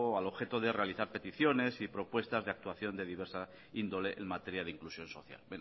al objeto de realizar peticiones y propuestas de actuación de diversa índole en materia de inclusión social